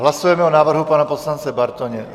Hlasujeme o návrhu pana poslance Bartoně.